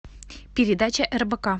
передача рбк